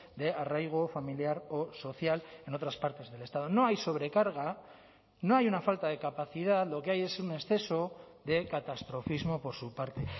de arraigo familiar o social en otras partes del estado no hay sobrecarga no hay una falta de capacidad lo que hay es un exceso de catastrofismo por su parte